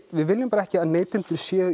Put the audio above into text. við viljum bara ekki að neytendur séu